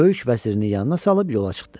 Böyük vəzirin yanına salıb yola çıxdı.